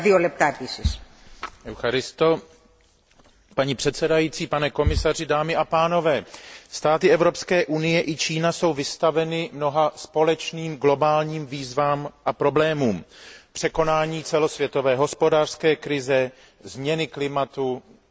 Paní předsedající, pane komisaři, dámy a pánové, státy Evropské unie i Čína jsou vystaveny mnoha společným globálním výzvám a problémům překonání celosvětové hospodářské krize, změny klimatu, terorismus, šíření zbraní hromadného ničení,